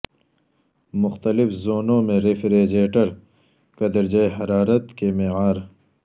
مختلف زونوں میں ریفریجریٹر کا درجہ حرارت کے معیار